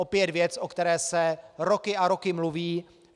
Opět věc, o které se roky a roky mluví.